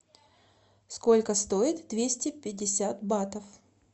сколько стоит двести пятьдесят батов